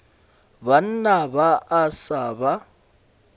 banna ba a sa ba